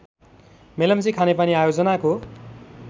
मेलम्ची खानेपानी आयोजनाको